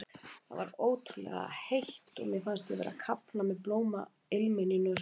Það var ótrúlega heitt og mér fannst ég vera að kafna með blómailminn í nösunum.